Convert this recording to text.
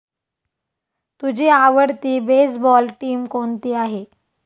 तुझी आवडती baseball team कोणती आहे?